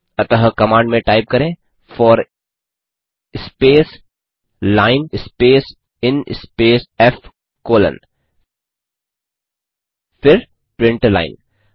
अतः कमांड में टाइप करें for space line space in space f colon फिर प्रिंट लाइन